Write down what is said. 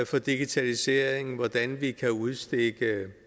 for digitaliseringen og hvordan vi kan udstikke